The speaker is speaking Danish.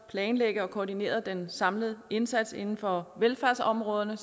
planlægge og koordinere den samlede indsats inden for velfærdsområderne